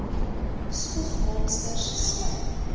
spoeg monsters slym